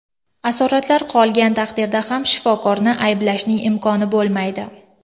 Asoratlar qolgan taqdirda ham shifokorni ayblashning imkoni bo‘lmaydi.